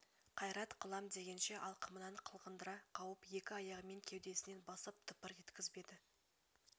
қайрат қылам дегенше алқымынан қылғындыра қауып екі аяғымен кеудесінен басып тыпыр еткізбеді